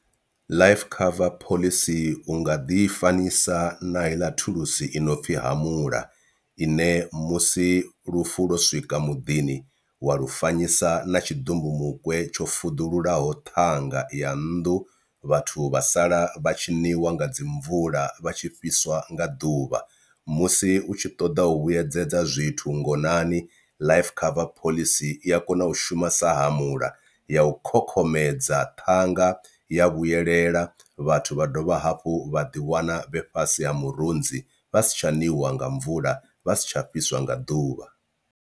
Life cover phoḽisi unga ḓifanyisa na heiḽa thulusi i no pfhi hamula ine musi lufu lwo swika muḓini wa lu fanyisa na tshi ḓumbumukwe tsho fuḓululaho ṱhanga ya nnḓu vhathu vha sala vha tshiniwa nga dzi mvula vha tshi fhiswa nga ḓuvha, musi u tshi ṱoḓa u vhuyedzedza zwithu ngonani life cover phoḽisi i a kona u shuma sa hamule ya u khokhomedza ṱhanga ya vhuyelela vhathu vha dovha hafhu vha ḓiwana vhe fhasi ha murunzi vha si tsha ṋiwa nga mvula vha si tsha fhiswa nga ḓuvha.